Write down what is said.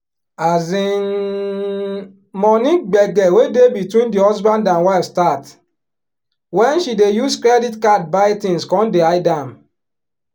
um money gbege wey dey between di husband and wife start wen she dey use credit card buy things con dey hide am.